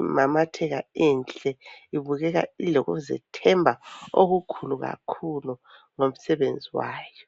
imamatheka inhle ibukeka, ilokuzethemba okukhulu kakhulu ngomsebenzi wayo.